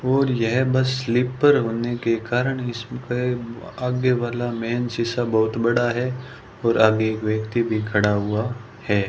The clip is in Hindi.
और बस स्लीपर होने के कारण इसमें आगे वाला मेन शीशा बहुत बड़ा है और आगे एक व्यक्ति भी खड़ा हुआ है।